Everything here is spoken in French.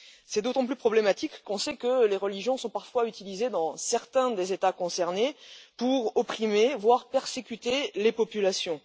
C'est d'autant plus problématique qu'on sait que les religions sont parfois utilisées dans certains des États concernés pour opprimer, voire persécuter les populations.